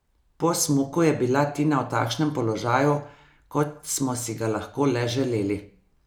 Po smuku je bila Tina v takšnem položaju, kot smo si ga lahko le želeli.